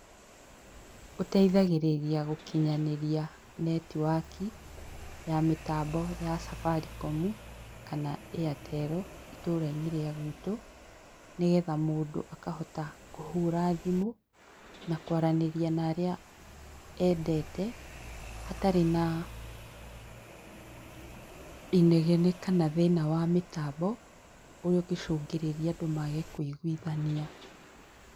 Ũteithagĩrĩria gũkinyanĩria netiwaki, ya mĩtambo ya cabarikomu, kana ĩatero, itũra-inĩ rĩa gwitũ, nĩgetha mũndũ akahota kũhura thimũ, na kũaranĩria na arĩa endete, hatarĩ na inegene kana thĩna wa mĩtambo, ũrĩa ũngĩcũngĩrĩria andũ maage kũiguithania.